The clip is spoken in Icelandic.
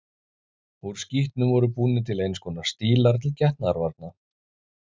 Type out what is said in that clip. Úr skítnum voru búnir til eins konar stílar til getnaðarvarna.